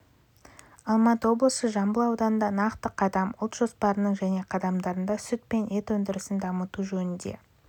алматы облысы жамбыл ауданында нақты қадам ұлт жоспарының және қадамдарында сүт пен ет өндірісін дамыту жөнінде